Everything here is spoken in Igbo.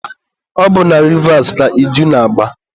ọ bụ na Rivas ka iju na-agba.